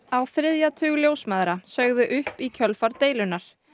á þriðja tug ljósmæðra sögðu upp í kjölfar deilunnar